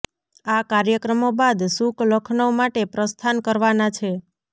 આ કાર્યક્રમો બાદ સુક લખનઉ માટે પ્રસ્થાન કરવાનાં છે